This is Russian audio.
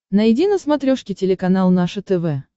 найди на смотрешке телеканал наше тв